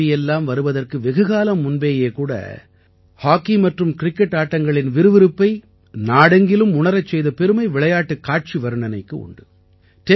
TV எல்லாம் வருவதற்கு வெகுகாலம் முன்பே கூட ஹாக்கி மற்றும் கிரிக்கெட் ஆட்டங்களின் விறுவிறுப்பை நாடெங்கிலும் உணரச் செய்த பெருமை விளையாட்டுக் காட்சி வர்ணனைக்கு உண்டு